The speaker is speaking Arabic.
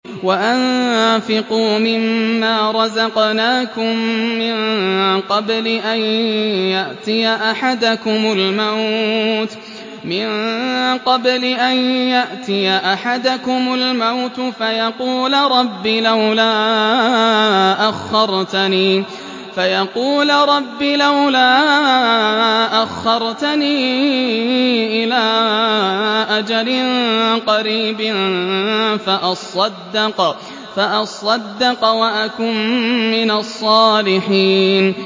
وَأَنفِقُوا مِن مَّا رَزَقْنَاكُم مِّن قَبْلِ أَن يَأْتِيَ أَحَدَكُمُ الْمَوْتُ فَيَقُولَ رَبِّ لَوْلَا أَخَّرْتَنِي إِلَىٰ أَجَلٍ قَرِيبٍ فَأَصَّدَّقَ وَأَكُن مِّنَ الصَّالِحِينَ